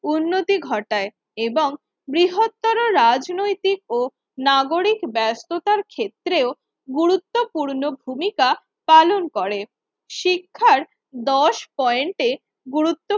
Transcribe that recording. উন্নতি ঘটায় এবং বৃহত্তর রাজনৈতিক ও নাগরিক ব্যাস্ততার ক্ষেত্রেও গুরুত্বপূর্ণ ভূমিকা পালন করে। শিক্ষার দশ পয়েন্টে গুরুত্ব